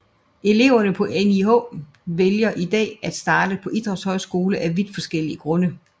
Eleverne på NIH vælger i dag at starte på idrætshøjskolen af vidt forskellige grunde